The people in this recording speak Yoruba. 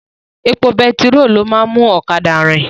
Epo betiró ni ó máa ń mú ọ̀kadà rin